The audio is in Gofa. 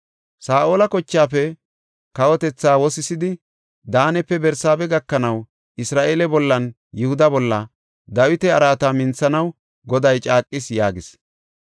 Saa7ola kochaafe kawotethaa wosisidi, Daanepe Barsaabe gakanaw Isra7eele bollanne Yihuda bolla, Dawita araata minthanaw Goday caaqis” yaagis.